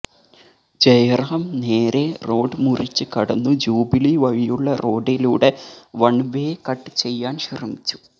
ജയറാം നേരെ റോഡ് മുറിച്ച് കടന്നു ജൂബിലി വഴിയുള്ള റോഡിലൂടെ വണ് വേ കട്ട് ചെയ്യാന് ശ്രമിച്ചു